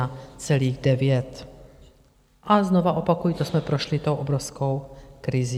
A znovu opakuji, to jsme prošli tou obrovskou krizí.